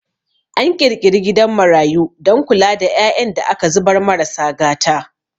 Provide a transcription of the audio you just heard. An ƙirƙiri gidan marayu don kula da ƴaƴan da aka zubar marasa gata